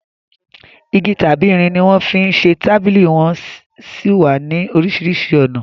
Igi tàbí irin ni wọ́n fi ń ṣe tábìlì wón sì wà ní oríṣiríṣi ọ̀nà